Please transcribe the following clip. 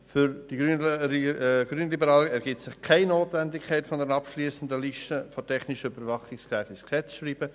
: Für die Grünliberalen ergibt sich keine Notwendigkeit, eine abschliessende Liste der technischen Überwachungsgeräte ins Gesetz zu schreiben.